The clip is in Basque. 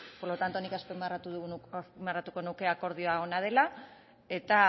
por lo tanto nik azpimarratuko nuke akordioa ona dela eta